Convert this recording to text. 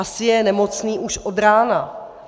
Asi je nemocný už od rána.